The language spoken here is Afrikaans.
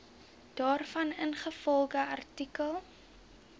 daarvan ingevolge artikel